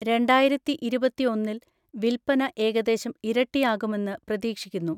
രണ്ടായിരത്തിഇരുപത്തിഒന്നിൽ വിൽപ്പന ഏകദേശം ഇരട്ടിയാകുമെന്ന് പ്രതീക്ഷിക്കുന്നു.